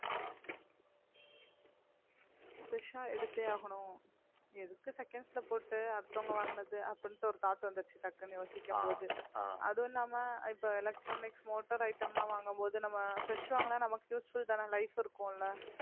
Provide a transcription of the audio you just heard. fresh ஆ எடுத்தே ஆகணும் எதுக்கு seconds ல போட்டு அடுத்தவங்க வாங்குனது அப்படின்னுட்டு ஒரு thought வந்திடுச்சு டக்குன்னு யோசிக்கும் போது அதுவும் இல்லாம இப்ப electronics motor item ல்லாம் வாங்கும்போது நம்ம fresh வாங்கினா நமக்கு useful தானே life இருக்கும் இல்ல